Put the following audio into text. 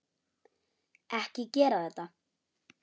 Ekki gera þetta.